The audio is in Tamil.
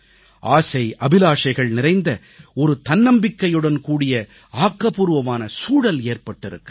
ஆசைஅபிலாஷைகள் நிறைந்த ஒரு தன்னம்பிக்கையுடன்கூடிய ஆக்கப்பூர்வமான சூழல் ஏற்பட்டிருக்கிறது